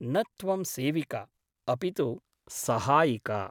न त्वं सेविका , अपि तु सहायिका ।